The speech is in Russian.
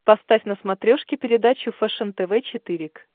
поставь на смотрешке передачу фэшен тв четыре к